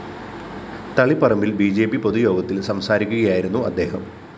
തളിപ്പറമ്പില്‍ B J P പൊതുയോഗത്തില്‍ സംസാരിക്കുകയായിരുന്നു അദ്ദേഹം